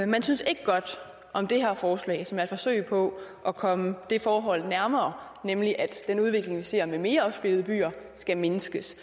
man synes ikke godt om det her forslag som er et forsøg på at komme det forhold nærmere nemlig at den udvikling vi ser med mere opsplittede byer skal mindskes